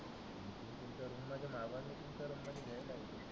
तुमच्या रुम मध्ये माघवा मी